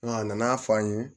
a nana fɔ an ye